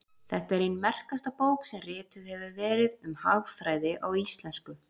þetta er ein merkasta bók sem rituð hefur verið um hagfræði á íslensku